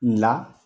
Nka